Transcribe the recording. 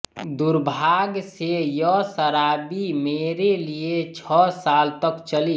दुर्भाग्य से यह शराबी मेरे लिए छह साल तक चली